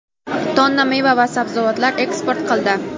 tonna meva va sabzavotlar eksport qildi.